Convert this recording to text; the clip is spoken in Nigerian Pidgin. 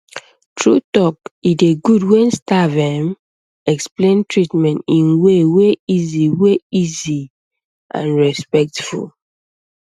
true talk e dey good when staff erm explain treatment in way wey easy wey easy and respectful